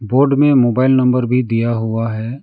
Board में mobile number भी दिया हुआ है।